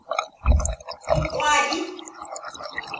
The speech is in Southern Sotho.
boqwabi